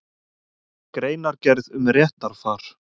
Greinargerð um réttarfar.